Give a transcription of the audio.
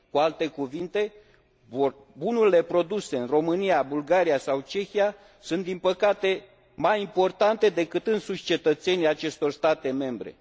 Cu alte cuvinte, bunurile produse în România, Bulgaria sau Cehia sunt, din păcate, mai importante decât înșiși cetățenii acestor state membre.